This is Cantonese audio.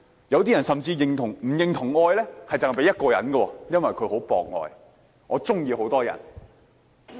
有些人甚至不認同只應該把愛給予一個人，因為他很博愛，會喜歡很多人。